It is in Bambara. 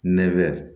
Nɛ bɛ